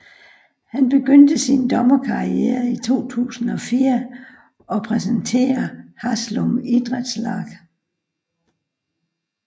Han begynste sin dommerkarriere i 2004 og repræsenterer Haslum Idrettslag